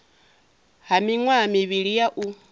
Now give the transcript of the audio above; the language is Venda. ha miṅwaha mivhili ya u